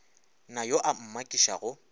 na yo a ka mmakišago